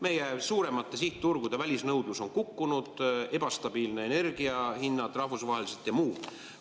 Meie suuremate sihtturgude välisnõudlus on kukkunud, pluss ebastabiilsed energia hinnad rahvusvaheliselt ja muud tegurid.